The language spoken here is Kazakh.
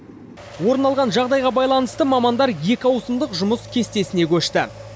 орын алған жағдайға байланысты мамандар екі ауысымдық жұмыс кестесіне көшті